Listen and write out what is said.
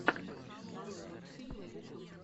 нарой мультфильмы ютюб